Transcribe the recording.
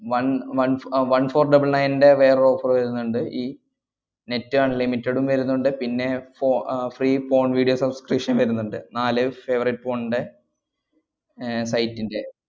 one one ഫോ~ uh one four double nine ന്‍റെ വേറെ offer വരുന്നുണ്ട്, ഈ net unlimited ഉം വരുന്നുണ്ട്, പിന്നെ ഫോ~ ah free phone video subscription വരുന്നുണ്ട്. നാല് favorite phone ന്‍റെ ഏർ bite ന്‍റെ